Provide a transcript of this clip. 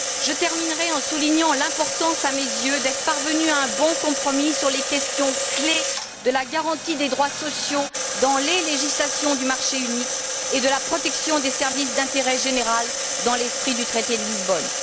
Je terminerai en soulignant l'importance, à mes yeux, d'être parvenus à un bon compromis sur les questions clés de la garantie des droits sociaux dans les législations du marché unique, et de la protection des services d'intérêt général dans l'esprit du traité de Lisbonne.